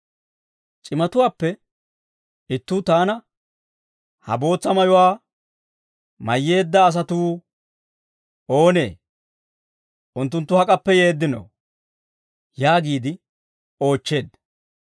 C'imatuwaappe ittuu taana, «Ha bootsa mayuwaa mayyeedda asatuu oonee? Unttunttu hak'appe yeeddinoo?» yaagiide oochcheedda.